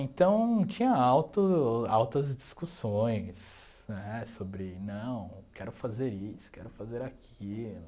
Então, tinha alto altas discussões né sobre, não, quero fazer isso, quero fazer aquilo.